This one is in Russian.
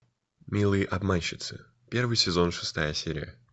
милые обманщицы первый сезон шестая серия